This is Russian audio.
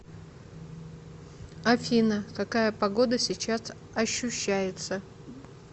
афина какая погода сейчас ощущается